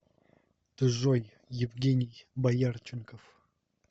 джой евгений боярченков